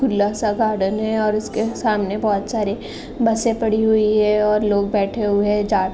खुला सा गार्डेन है और इसके सामने बहुत सारे बसे पडी हुई है और लोग बैठे हुए जा --